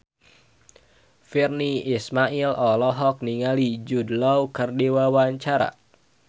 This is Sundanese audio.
Virnie Ismail olohok ningali Jude Law keur diwawancara